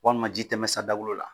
Walima ji tɛmɛ sa dakolo la